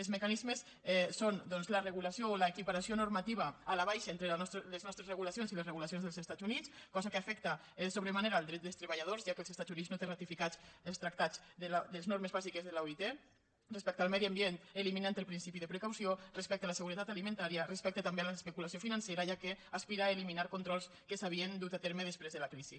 els mecanismes són doncs la regulació o l’equiparació normativa a la baixa entre les nostres regulacions i les regulacions dels estats units cosa que afecta sobre manera els drets dels treballadors ja que als estats units no té ratificats els tractats de les normes bàsiques de l’oit respecte al medi ambient eliminant el principi de precaució respecte a la seguretat alimentària respecte també a l’especulació financera ja que aspira a eliminar controls que s’havien dut a terme després de la crisi